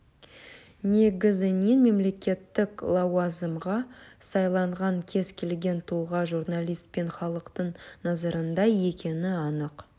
негізінен мемлекеттік лауазымға сайланған кез келген тұлға журналист пен халықтың назарында екені анық